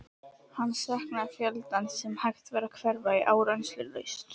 Hann saknaði fjöldans sem hægt var að hverfa í áreynslulaust.